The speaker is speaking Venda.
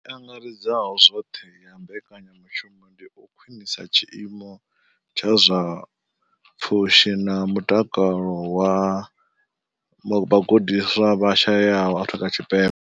I angaredzaho zwoṱhe ya mbekanyamushumo ndi u khwinisa tshiimo tsha zwa pfushi na mutakalo zwa vhagudiswa vha shayesaho Afrika Tshipembe.